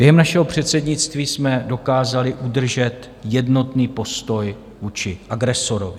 Během našeho předsednictví jsme dokázali udržet jednotný postoj vůči agresorovi.